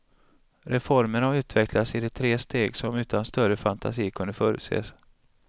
Reformen har utvecklats i de tre steg som utan större fantasi kunde förutses.